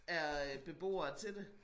Er øh beboere til det